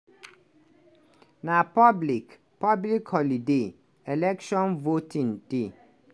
na public public holiday – election voting day.